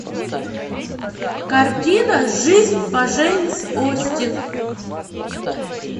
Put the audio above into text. картина жизнь по джейн остин